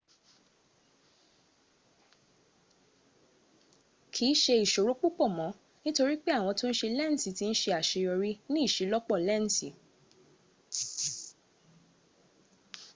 kii se isoro pupo mo nitori pe awon to n se lensi ti n se aseyori ni iselopo lensi